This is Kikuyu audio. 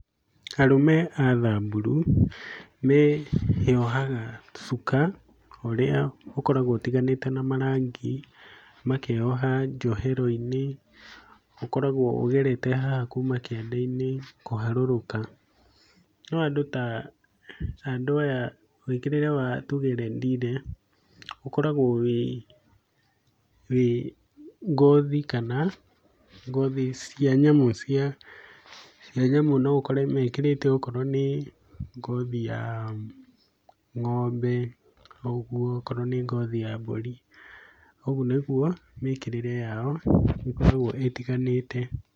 Arũme a Thamburu, meyohaga cuka ũrĩa ũkoragwo ũtiganĩte na marangi, makeyoha njohero-inĩ, ũkoragwo ũgerete haha kuuma kĩande-inĩ kũharũrũka, no andũ ta, andũ aya mwĩkĩrĩre wa tuge Rendile, ũkoragwo wĩ wĩ ngothi, kana ngothi cia nyamũ, cia nyamũ, no ũkore mekĩrĩte okorwo nĩ ngothi ya ng'ombe ũguo, okorwo nĩ ngothi ya mbũri, ũguo nĩguo mĩkĩrĩre yao ĩkoragwo ĩtiganĩte.